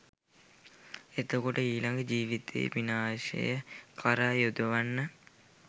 එතකොට ඊළඟ ජීවිතයේ විනාශය කරා යොදවන්න